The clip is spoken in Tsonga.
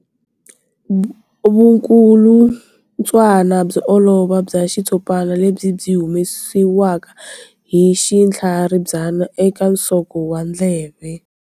Vukulutswana byo olova bya xitshopana lebyi byi humesiwaka hi xinhlaribya eka nsoko wa ndleve.